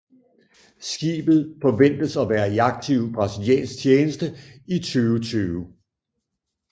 Skibet forventes at være i aktiv brasiliansk tjeneste i 2020